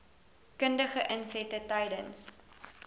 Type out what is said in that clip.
kundige insette tydens